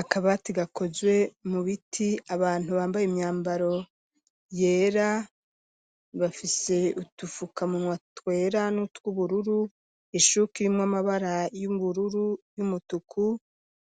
Akaba ati gakozwe mu biti abantu bambaye imyambaro yera bafise utufuka munywa twera nutw'ubururu ishuki rimw amabara y'ubururu y'umutuku